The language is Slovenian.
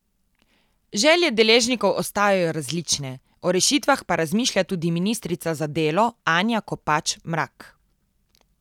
Želje deležnikov ostajajo različne, o rešitvah pa razmišlja tudi ministrica za delo Anja Kopač Mrak.